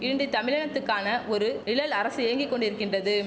into தமிழினத்துக்கான ஒரு நிழல் அரசு இயங்கி கொண்டிருக்கின்றது